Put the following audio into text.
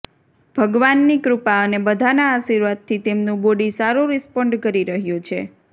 ભગવાનની કૃપા અને બધાના આશીર્વાદથી તેમનું બોડી સારું રિસ્પોન્ડ કરી રહ્યું છે